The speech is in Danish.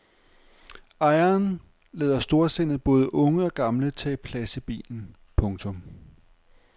Ejeren lader storsindet både unge og gamle tage plads i bilen. punktum